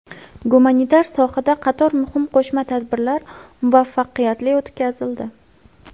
Gumanitar sohada qator muhim qo‘shma tadbirlar muvaffaqiyatli o‘tkazildi.